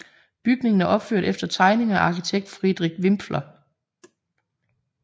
Bygningen er opført efter tegninger af arkitekt Friedrich Wipfler